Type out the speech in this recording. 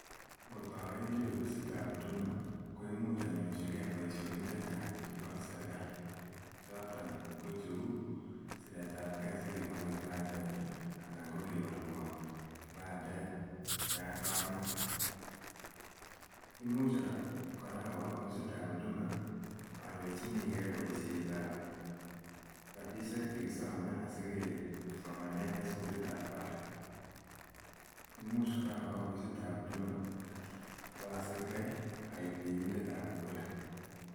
Ngot awendi ofisitab Huduma, ko imuch anyorchikei boisionik che che chang chebo serikali, choton ko cheu, siretabkei asi kekonon kipandet ii anan ko kewolwon kipandet yan kamete, imuch kora awo ofisitab Huduma anyorchinikei boisietab rabiisiek che kisome asi kesomane en sukulitab barak. Imuch kora awo ofisitab Huduma ap asirkei aek birindetab kura.